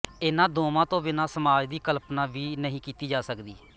ਇਨ੍ਹਾਂ ਦੋਵਾਂ ਤੋਂ ਬਿਨਾਂ ਸਮਾਜ ਦੀ ਕਲਪਨਾ ਵੀ ਨਹੀਂ ਕੀਤੀ ਜਾ ਸਕਦੀ